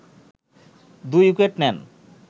২ wicket নেন